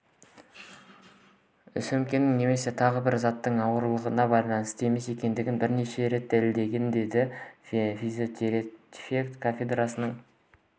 сөмкенің немесе тағы бір заттың ауыртпалығына байланысты емес екендігі бірнеше рет дәлелденген деді физиотерапия кафедрасының